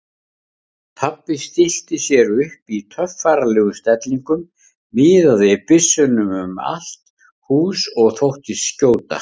Pabbi stillti sér upp í töffaralegum stellingum, miðaði byssunum um allt hús og þóttist skjóta.